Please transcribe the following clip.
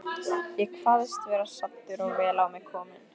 Ég kvaðst vera saddur og vel á mig kominn.